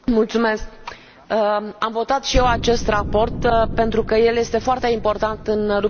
Am votat și eu acest raport pentru că el este foarte important în lupta împotriva corupției.